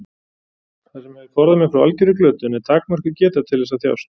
Það sem hefur forðað mér frá algjörri glötun er takmörkuð geta til þess að þjást.